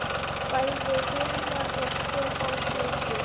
Bæði Hilmar og Stefán sungu.